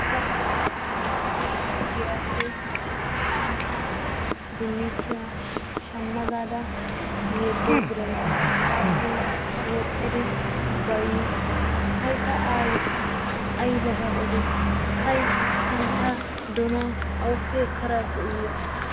ta aayiya tana giyaappe tana shama gaada yedo biray wodhiis ta woygada odoo iyoo hay ta santaa donuwa awuppe ekkada efoo iyoo.